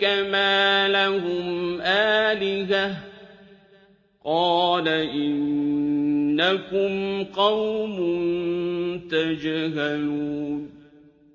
كَمَا لَهُمْ آلِهَةٌ ۚ قَالَ إِنَّكُمْ قَوْمٌ تَجْهَلُونَ